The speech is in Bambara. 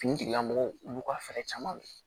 Finitigilamɔgɔw olu ka fɛɛrɛ caman kɛ